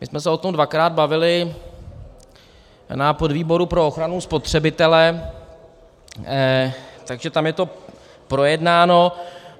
My jsme se o tom dvakrát bavili na podvýboru pro ochranu spotřebitele, takže tam je to projednáno.